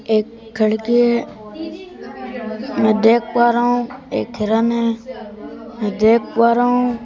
एक खीड़की है मैं देख पा रहा हूँ एक हिरण है मैं देख पा रहा हूँ--